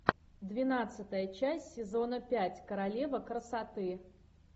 двенадцатая часть сезона пять королева красоты